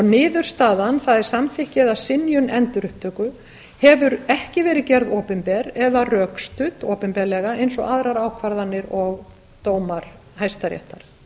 niðurstaðan það er samþykki eða synjun endurupptöku hefur ekki verið gerð opinber eða rökstudd opinberlega eins og aðrar ákvarðanir og dómar hæstaréttar